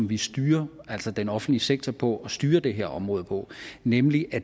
vi styrer den offentlige sektor på og styrer det her område på nemlig at